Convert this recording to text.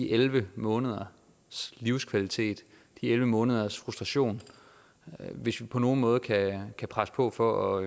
elleve måneders livskvalitet det er elleve måneders frustration og hvis vi på nogen måde kan kan presse på for